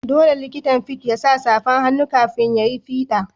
Dolle likitan fids ya sa safan hannu kafin ya yi fida.